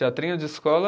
Teatrinho de escola...